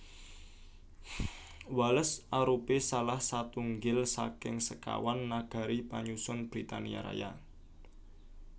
Wales arupi salah satunggil saking sekawan nagari panyusun Britania Raya